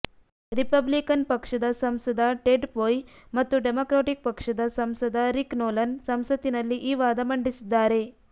Republican ಪಕ್ಷದ ಸಂಸದ Ted Poe ಮತ್ತು ಡೆಮಕ್ರಾಟಿಕ್ ಪಕ್ಷದ ಸಂಸದ ರಿಕ್ ನೊಲನ್ ಸಂಸತ್ತಿನಲ್ಲಿ ಈ ವಾದ ಮಂಡಿಸಿದ್ದಾರೆ